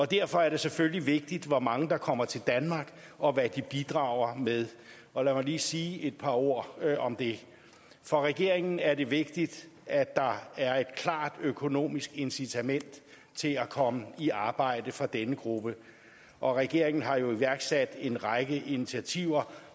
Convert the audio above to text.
derfor er det selvfølgelig vigtigt hvor mange der kommer til danmark og hvad de bidrager med og lad mig lige sige et par ord om det for regeringen er det vigtigt at der er et klart økonomisk incitament til at komme i arbejde for denne gruppe og regeringen har jo iværksat en række initiativer